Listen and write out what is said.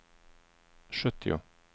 sjuttio